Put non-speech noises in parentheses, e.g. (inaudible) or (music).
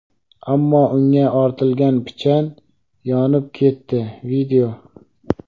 ammo unga ortilgan pichan yonib ketdi. (video)